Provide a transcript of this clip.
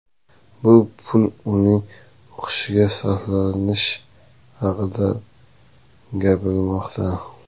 Bu pul uning o‘qishiga sarflanishi haqida gapirilmoqda.